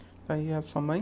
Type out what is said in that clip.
E aí, a sua mãe?